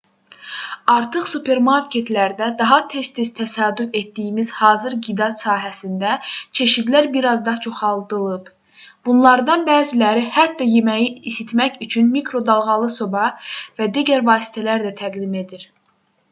artıq supermarketlərdə daha tez-tez təsadüf etdiyimiz hazır qida sahəsində çeşidlər bir az da çoxaldılıb bunlardan bəziləri hətta yeməyi isitmək üçün mikro dalğalı soba və digər vasitələr də təqdim edir